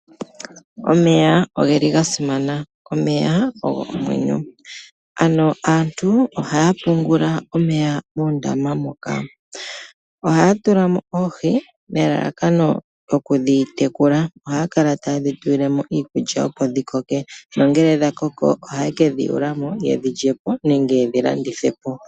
Omeya oga simana, omeya ogo omwenyo, ano aantu ohaya pungula omeya moondama moka. Ohaya tula mo oohi nelalakano okudhi tekula, ohaye dhi tulile mo iikulya opo dhi koke nongele dha koko ohaye kedhi yuula mo yedhi lye po nenge yedhi landithe po.